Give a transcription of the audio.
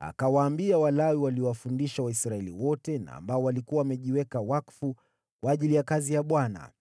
Akawaambia Walawi, waliowafundisha Waisraeli wote na waliokuwa wamejiweka wakfu kwa ajili ya kazi ya Bwana ,